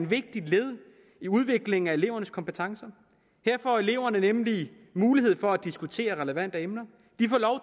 vigtigt led i udviklingen af elevernes kompetencer her får eleverne nemlig mulighed for at diskutere relevante emner